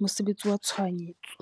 mosebetsi wa tshohanyetso.